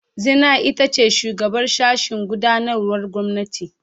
Zinai ita ce shugabar sashen gudanarwar gwamnati.